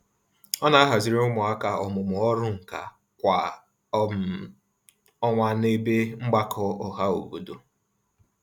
Ọ na-ahaziri ụmụaka ọmụmụ ọrụnkà kwa um ọnwa n'ebe mgbakọ ọhaobodo.